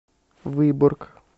выборг